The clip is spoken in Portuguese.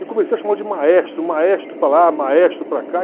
E comecei a chamá-lo de maestro, maestro para lá, maestro para cá.